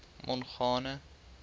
mongane